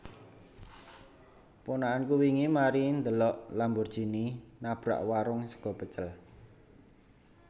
Ponakanku wingi mari ndhelok Lamborghini nabrak warung sego pecel